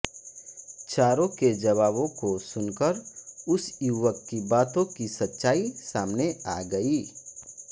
चारों के जवाबों को सुनकर उस युवक की बातों की सच्चाई सामने आ गई